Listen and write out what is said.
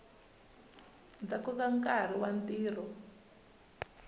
ndzhaku ka nkarhi wa ntirho